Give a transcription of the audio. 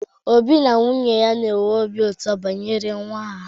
Obi na nwunye ya nwere obi ụtọ banyere nwa ha.